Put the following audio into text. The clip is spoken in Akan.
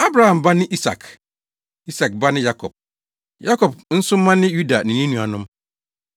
Abraham ba ne Isak, Isak ba ne Yakob; Yakob nso mma ne Yuda ne ne nuanom.